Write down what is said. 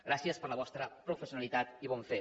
gràcies per la vostra professionalitat i bon fer